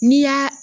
N'i y'a